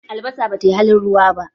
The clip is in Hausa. Albasa bata yi halin ruwa ba